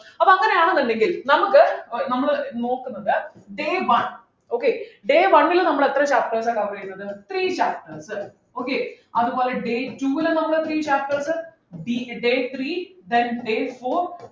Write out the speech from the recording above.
അപ്പൊ അങ്ങനെ ആണെന്നുണ്ടെങ്കിൽ നമുക്ക് ഏർ നമ്മൾ നോക്കുന്നത് day one okay day one ലു നമ്മൾ എത്ര chapterസ് അ cover ചെയ്തത് three chapters okay അതുപോലെ day two ലും നമ്മൾ ഡി day three then day four